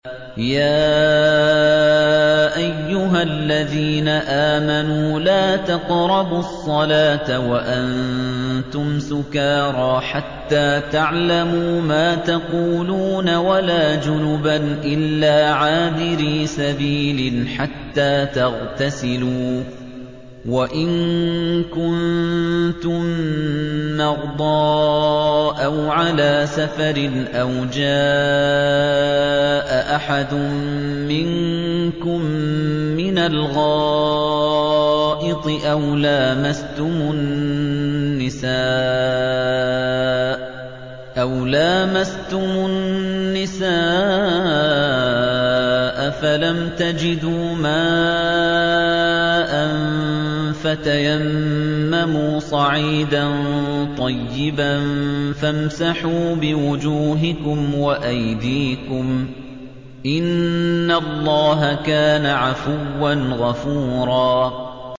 يَا أَيُّهَا الَّذِينَ آمَنُوا لَا تَقْرَبُوا الصَّلَاةَ وَأَنتُمْ سُكَارَىٰ حَتَّىٰ تَعْلَمُوا مَا تَقُولُونَ وَلَا جُنُبًا إِلَّا عَابِرِي سَبِيلٍ حَتَّىٰ تَغْتَسِلُوا ۚ وَإِن كُنتُم مَّرْضَىٰ أَوْ عَلَىٰ سَفَرٍ أَوْ جَاءَ أَحَدٌ مِّنكُم مِّنَ الْغَائِطِ أَوْ لَامَسْتُمُ النِّسَاءَ فَلَمْ تَجِدُوا مَاءً فَتَيَمَّمُوا صَعِيدًا طَيِّبًا فَامْسَحُوا بِوُجُوهِكُمْ وَأَيْدِيكُمْ ۗ إِنَّ اللَّهَ كَانَ عَفُوًّا غَفُورًا